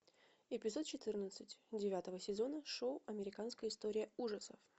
эпизод четырнадцать девятого сезона шоу американская история ужасов